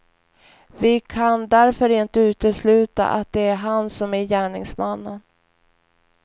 Vi kan därför inte utesluta att det är han som är gärningsmannen.